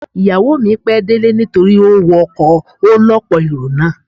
Ìyàwó mi pẹ́ délé nítorí ó wọ ọkọ̀ ọ lọ́pọ̀ èrò náà.